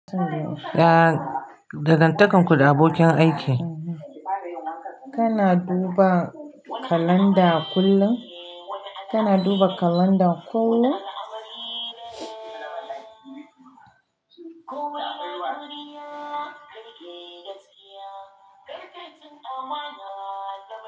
Ya dangantakarku da abokin aiki. Kana duba kalanda kullum? Kana duba kalanda ko?